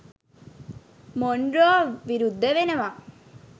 Monroe විරුද්ධ වෙනවා